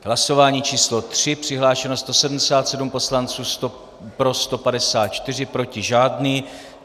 Hlasování číslo 3, přihlášeno 177 poslanců, pro 154, proti žádný.